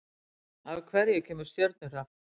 Af hverju kemur stjörnuhrap?